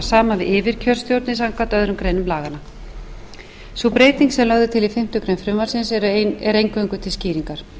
saman við yfirkjörstjórnir samkvæmt öðrum greinum laganna sú breyting sem lögð er til í fimmtu grein frumvarpsins er eingöngu til skýringar